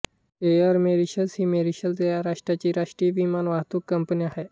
air Mauritius ही Mauritius या राष्ट्राची राष्ट्रीय विमान वाहतूक कंपनी आहे